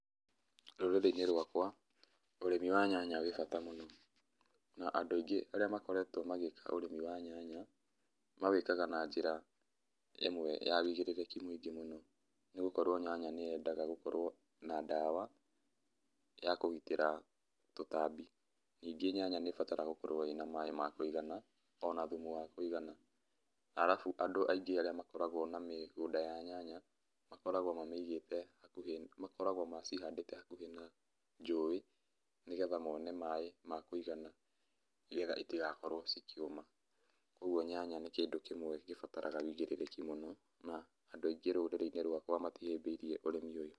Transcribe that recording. Rũrĩrĩ-inĩ rwakwa, ũrĩmi wa nyanya wĩ bata mũno. Na andũ aingĩ arĩa makoretwo magĩka ũrĩmi wa nyanya, mawĩkaga na njĩra imwe ya ũigĩrĩrĩki mũingĩ mũno. Nĩgũkorwo nyanya nĩyendaga gũkorwo na ndawa ya kũgitĩra tũtambi. Ningĩ nyanya nĩbataraga gũkorwo ĩ na maĩ ma kũigana, ona thumu wa kũigana. Arabu andũ arĩa aingĩ makoragwo na mĩgũnda ya nyanya, makoragwo mamĩigĩte hakuhĩ, makoragwo macihandĩte hakuhĩ na njũĩ, nĩgetha mone maĩ ma kũigana, nĩgetha itigakorwo cikĩũma. Koguo nyanya nĩ kĩndũ kĩmwe gĩbataraga ũigĩrĩrĩki mũno, na andũ aingĩ rũrĩrĩ-inĩ rwakwa matihĩmbĩirie ũrĩmi ũyũ.